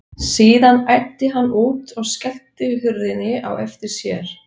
Síðan æddi hann út og skellti hurðinni á eftir sér.